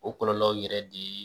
O kɔlɔlɔw yɛrɛ de.